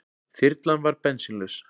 Þyrlan varð bensínlaus